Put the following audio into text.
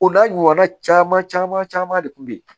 O n'a ɲɔgɔnna caman caman de kun be yen